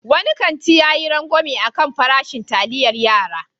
Wani kanti ya yi rangwame a kan farashin taliayar yara.